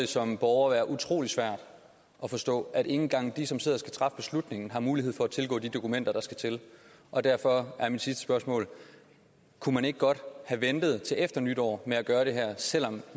som borger være utrolig svært at forstå at ikke engang de som sidder og skal træffe beslutningen har mulighed for at tilgå de dokumenter der skal til og derfor er mit sidste spørgsmål kunne man ikke godt have ventet til efter nytår med at gøre det her selv om